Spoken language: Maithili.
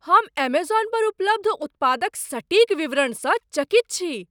हम एमेजॉन पर उपलब्ध उत्पादक सटीक विवरणसँ चकित छी।